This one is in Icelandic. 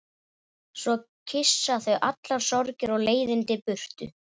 Svo kyssa þau allar sorgir og leiðindi burtu.